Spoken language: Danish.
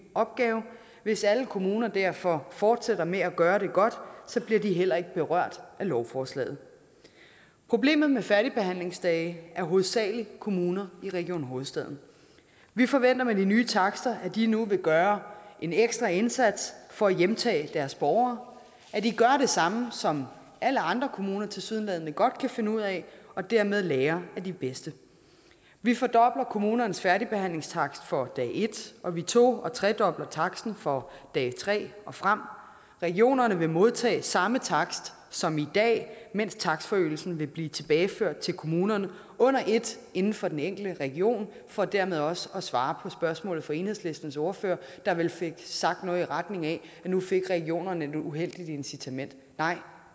opgave hvis alle kommuner derfor fortsætter med at gøre det godt bliver de heller ikke berørt af lovforslaget problemet med færdigbehandlingsdage hovedsagelig kommuner i region hovedstaden vi forventer med de nye takster at de nu vil gøre en ekstra indsats for at hjemtage deres borgere at de gør det samme som alle andre kommuner tilsyneladende godt kan finde ud af og dermed lærer af de bedste vi fordobler kommunernes færdigbehandlingstakst for dag et og vi to og tredobler taksten for dag tre og frem regionerne vil modtage samme takst som i dag mens takstforøgelsen vil blive tilbageført til kommunerne under et inden for den enkelte region for dermed også at svare på spørgsmålet fra enhedslistens ordfører der vel fik sagt noget i retning af at nu fik regionerne et uheldigt incitament nej